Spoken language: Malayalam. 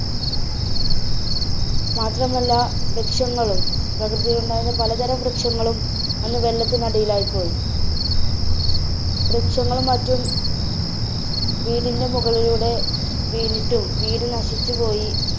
മാത്രമല്ല വൃക്ഷങ്ങളും, പ്രകൃതിയിലുണ്ടായിരുന്ന പലതരം വൃക്ഷങ്ങളും അന്ന് വെള്ളത്തിനടിയിലായി പോയി. വൃക്ഷങ്ങളും മറ്റും വീടിന്‍ടെ മുകളിലൂടെ വീണിട്ടും വീട് നശിച്ചുപോയി.